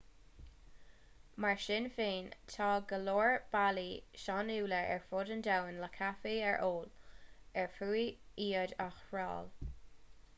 mar sin féin tá go leor bealaí sainiúla ar fud an domhain le caife a ól ar fiú iad a thriail